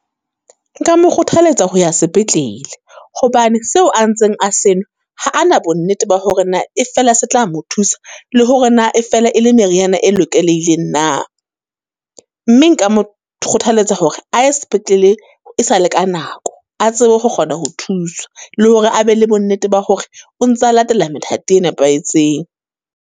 Nka mo kgothaletsa ho ya sepetlele, hobane seo a ntseng a senwa, ha a na bonnete ba hore na e fela se tla mo thusa, le hore na fela e le meriana e lokolohileng na? Mme nka mo kgothaletsa hore a ye sepetleleng e sa le ka nako, a tsebe ho kgona ho thuswa. Le hore a be le bonnete ba hore, o ntsa latela methathe e nepahetseng.